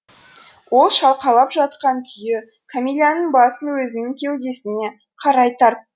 ол шалқалап жатқан күйі кәмиләнің басын өзінің кеудесіне қарай тартты